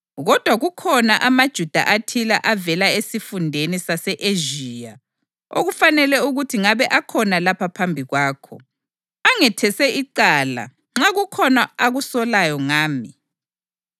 Kodwa kukhona amaJuda athile avela esifundeni sase-Ezhiya, okufanele ukuthi ngabe akhona lapha phambi kwakho, angethese icala nxa kukhona akusolayo ngami.